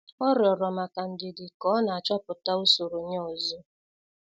Ọ rịorọ maka ndidi ka ọ na-achọpụta usoro ya ozo.